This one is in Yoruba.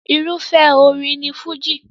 Irúfẹ́ orin ni Fújì.